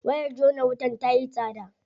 Wayar jona wutar tayi tsada.